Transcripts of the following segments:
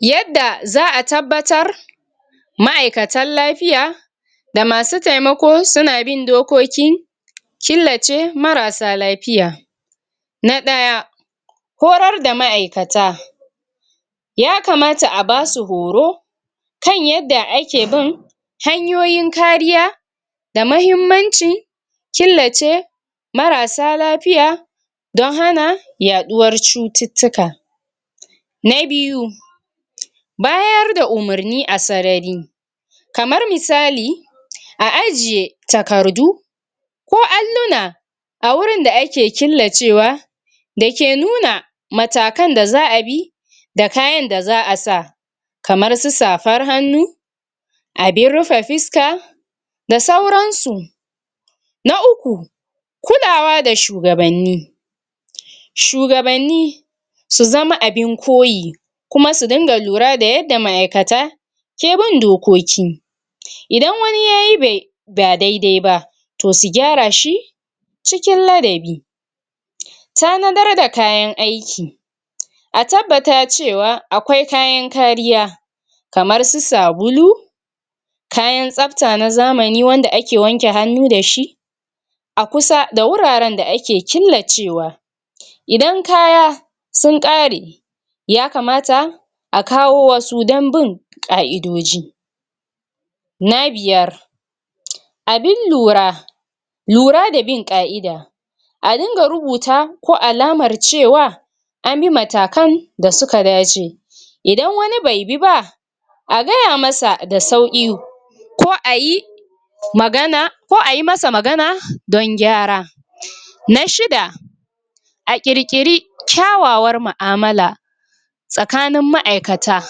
Yadda za a tabbatar ma'aikatan lafiya da masu taimako, suna bin dokoki killace marasa lafiya: Na ɗaya, horar da ma'aikata. Ya kamata a basu horo, kan yadda ake bin hanyoyin kariya, da mahimmancin killace marasa lafiya, don hana yaɗuwar cututtuka. Na biyu, bayar da umarni a sarari, kamar misali, a ajiye takardu ko alluna a wurin da ake killacewa, domin nuna matakan da za a bi da kayan za a sa, kamar su safan hannu, abin rufe fiska, da sauran su. Na uku, kulawa da shugabanni. Shugabanni sun zama abin koyi, kuma su dunga lura da ma'aikata ke bin dokoki. Idan wani yayi ba dai-dai ba, to su gyara shi cikin ladabi. Tanadar da kayan aiki. A tabbata cewa akwai kayan kariya, kamar su sabulu, kayan tsafta na zamani wanda ake amfani dashi a kusa da wuraren da ake killacewa. Idan kaya sun ƙare, ya kamata a kawo wasu, dan bin ƙa'idoji. Na biyar, abin lura lura da bin ƙa'ida. A dunga rubuta, ko alamar cewa an bi matakan da suka dace. Idan wani bai bi ba, a gaya masa da sauƙi ko ayi magana ko ayi masa magana don gyara. Na shida, a ƙirƙiri kyawawar mu'amala tsakanin ma'aikata,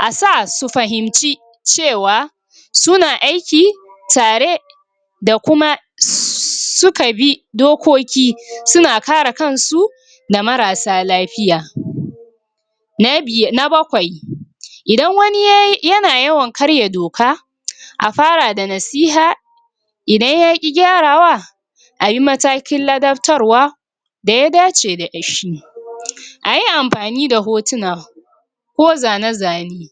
a sa su fahimci cewa suna aiki tare, da kuma su ka bi dokoki, suna kare kan su da marasa lafiya. Na bakwai, idan wani yana yawan karya doka, a fara da nasiha, idan yaƙi gyarawa, ayi matakin ladaftarwa da ya dace dashi. A yi amfani da hotuna ko zane-zane